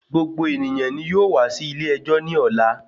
Gbogbo ènìyàn nì yóò wá sí ilè ẹjọ́ nì ọ̀la.